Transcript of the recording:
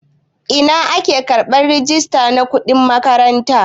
Ina ake karɓan risit na kuɗin makaranta?